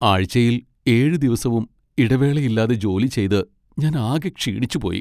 ആഴ്ചയിൽ ഏഴ് ദിവസവും ഇടവേളയില്ലാതെ ജോലി ചെയ്ത് ഞാനാകെ ക്ഷീണിച്ചു പോയി.